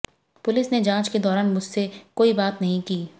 police ने जांच के दौरान मुझसे कोई बात नहीं की